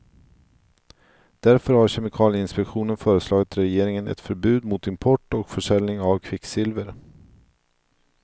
Därför har kemikalieinpektionen föreslagit regeringen ett förbud mot import och färsäljning av kvicksilver.